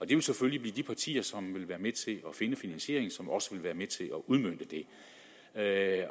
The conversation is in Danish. det vil selvfølgelig blive de partier som vil være med til at finde finansieringen som også vil være med til at